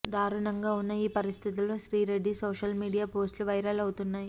దారుణంగా ఉన్న ఈ పరిస్థితుల్లో శ్రీరెడ్డి సోషల్ మీడియా పోస్ట్లు వైరల్ అవుతున్నాయి